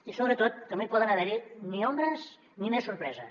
i sobretot no hi poden haver ni ombres ni més sorpreses